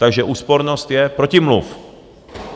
Takže úspornost je protimluv.